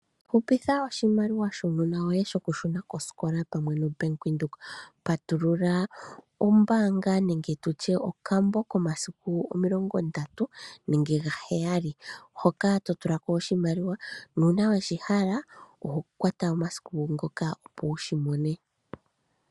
Hupitha oshimaliwa shuunona woye, shokushuna kosikola pamwe noBank Windhoek. Patulula ombaanga nenge tutye okambo komasiku omilongo ndatu nenge gaheyali, hoka totulako oshimaliwa, nuuna weshihala, oho kwata omasiku ngoka opo wushimone.